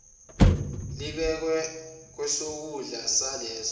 libekwe ngakwesokudla saleso